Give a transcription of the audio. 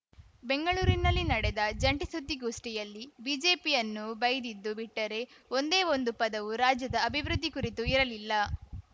ಬೆಂಗಳೂರಿನಲ್ಲಿ ನಡೆಸಿದ ಜಂಟಿ ಸುದ್ದಿಗೋಷ್ಠಿಯಲ್ಲಿ ಬಿಜೆಪಿಯನ್ನು ಬೈದಿದ್ದು ಬಿಟ್ಟರೆ ಒಂದೇ ಒಂದು ಪದವು ರಾಜ್ಯದ ಅಭಿವೃದ್ಧಿ ಕುರಿತು ಇರಲಿಲ್ಲ